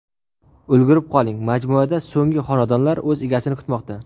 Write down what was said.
Ulgurib qoling, majmuada so‘nggi xonadonlar o‘z egasini kutmoqda.